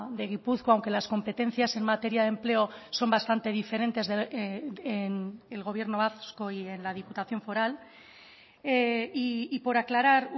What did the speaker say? de gipuzkoa aunque las competencias en materia de empleo son bastante diferentes en el gobierno vasco y en la diputación foral y por aclarar